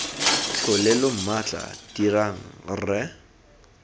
tlhole lo mmatla dirang rre